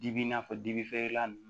Dibi n'a fɔ dibi feerela nunnu